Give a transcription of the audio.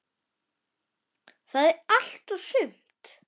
Það er allt og sumt.